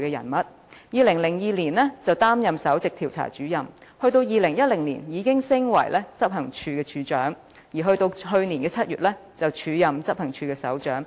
她在2002年升任首席調查主任，到了2010年已晉升至執行處處長的職位，到了去年7月更開始署任執行處首長。